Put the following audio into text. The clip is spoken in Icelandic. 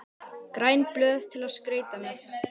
græn blöð til að skreyta með